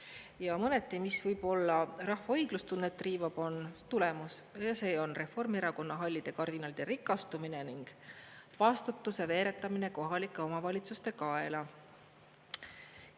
Ja mõneti, mis võib-olla rahva õiglustunnet riivab, on tulemus, ja see on Reformierakonna hallide kardinalide rikastumine ning vastutuse veeretamine kohalike omavalitsuste kaela.